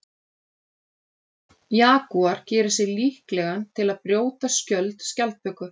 Jagúar gerir sig líklegan til að brjóta skjöld skjaldböku.